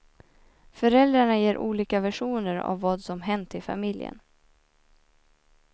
Föräldrarna ger olika versioner av vad som hänt i familjen.